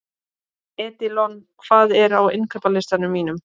Edilon, hvað er á innkaupalistanum mínum?